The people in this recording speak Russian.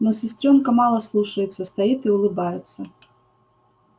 но сестрёнка мало слушается стоит и улыбается